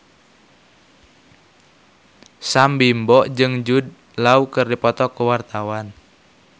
Sam Bimbo jeung Jude Law keur dipoto ku wartawan